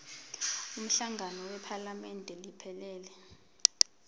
umhlangano wephalamende iphelele